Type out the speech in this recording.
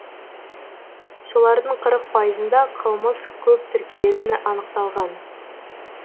солардың қырық пайызында қылмыс көп тіркелетіні анықталған